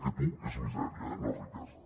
aquest u és misèria no riquesa